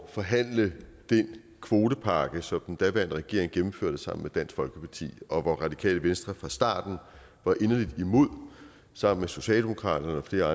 forhandle den kvotepakke som den daværende regering gennemførte sammen med dansk folkeparti og hvor radikale venstre fra starten var inderligt imod sammen med socialdemokratiet og